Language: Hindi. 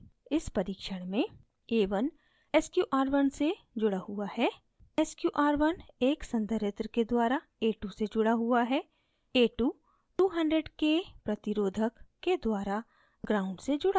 इस परीक्षण में